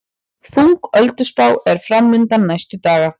Þung ölduspá er framundan næstu daga